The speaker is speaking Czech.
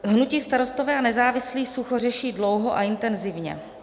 Hnutí Starostové a nezávislí sucho řeší dlouho a intenzivně.